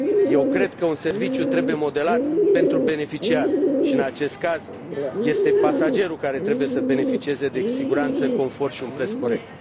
Eu cred că un serviciu trebuie modelat pentru beneficiar și, în acest caz, este pasagerul cel care trebuie să beneficieze de siguranță, confort și un preț corect.